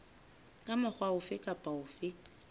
ka mokgwa ofe kapa ofe